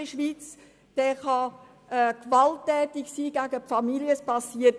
Er kann gewalttätig gegenüber der Familie sein, und nichts passiert.